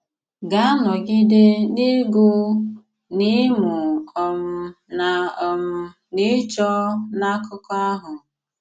Gà-anọgide n’ịgụ̀, n’ịmụ̀ um na um n’ịchọ̀ n’akụkọ̀ ahụ.